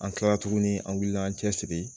An kilara tuguni an wulila an cɛsiri